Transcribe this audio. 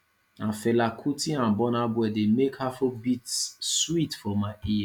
na fela kuti and burna boy dey make afrobeat sweet for my ear